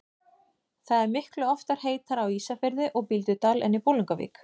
Það er miklu oftar heitara á Ísafirði og Bíldudal en í Bolungarvík.